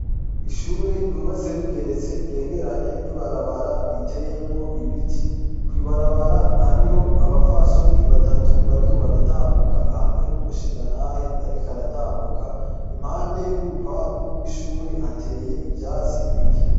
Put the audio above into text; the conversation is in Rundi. Ishure ryubatse rigeretse ryegeranye ni barabara riteyemwo ibiti koibarabara hariho abafasoni batatu bariko baratambuka hamwe n'umushingantahe, ariko aratambuka impande y'urupangu rw'ishure hateye ivyatsi bike.